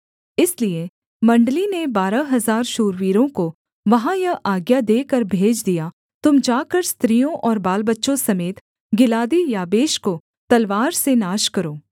इसलिए मण्डली ने बारह हजार शूरवीरों को वहाँ यह आज्ञा देकर भेज दिया तुम जाकर स्त्रियों और बालबच्चों समेत गिलादी याबेश को तलवार से नाश करो